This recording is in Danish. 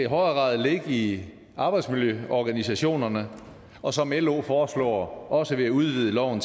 grad ligge i arbejdsmiljøorganisationerne og som lo foreslår også ved at udvide loven